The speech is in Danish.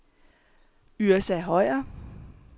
Yrsa Høyer